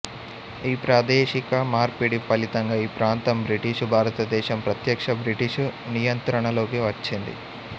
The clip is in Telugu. ఈ ప్రాదేశిక మార్పిడి ఫలితంగా ఈ ప్రాంతం బ్రిటిషు భారతదేశం ప్రత్యక్ష బ్రిటిషు నియంత్రణలోకి వచ్చింది